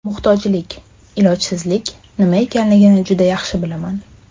Muhtojlik, ilojsizlik nima ekanligini juda yaxshi bilaman.